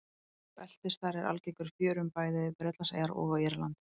Beltisþari er algengur í fjörum bæði við Bretlandseyjar og á Írlandi.